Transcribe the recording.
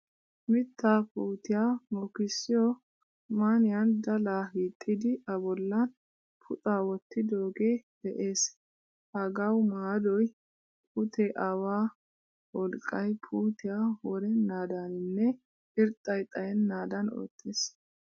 Mitta puutiyaa mokisiyo man'iyan dala hiixidi a bollan puxxa wottidoge de'ees. Hagaawu maadoy pute awaa wolqqay puutiyaa worenadaninne irxxay xayenadan oottees.